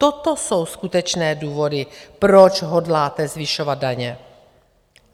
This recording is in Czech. Toto jsou skutečné důvody, proč hodláte zvyšovat daně.